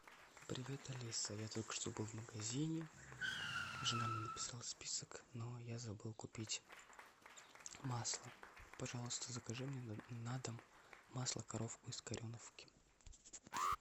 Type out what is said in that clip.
привет алиса я только что был в магазине жена мне написала список но я забыл купить масло пожалуйста закажи мне на дом масло коровка из кореновки